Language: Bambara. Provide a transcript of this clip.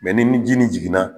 ni ji nin jiginna.